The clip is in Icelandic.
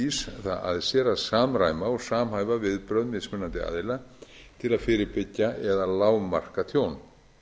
cert ís það að sér að samræma og samhæfa viðbrögð mismunandi aðila til að fyrirbyggja eða lágmarka tjón